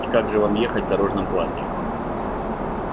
и как же вам ехать в дорожном платье